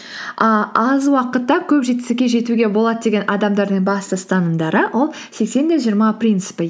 а аз уақытта көп жетістікке жетуге болады деген адамдардың бас ұстанымдары ол сексен де жиырма принципі